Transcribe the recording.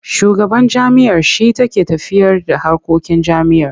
Shugaban jami'a shi take tafiyarda harkokin jami'ar.